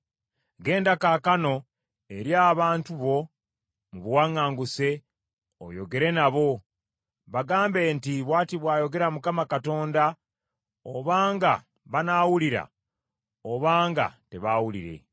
Genda kaakano eri abantu bo, mu buwaŋŋanguse, oyogere nabo. Bagambe nti, Bw’ati bw’ayogera Mukama Katonda, obanga banaawulira, obanga tebaawulire.”